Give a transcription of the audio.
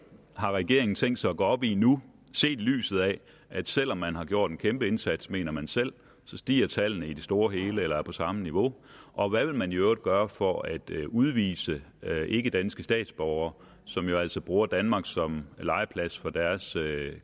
har regeringen tænkt sig at gå op i nu set i lyset af at selv om man har gjort en kæmpe indsats mener man selv så stiger tallene i det store hele eller er på samme niveau og hvad vil man i øvrigt gøre for at udvise ikkedanske statsborgere som jo altså bruger danmark som legeplads for deres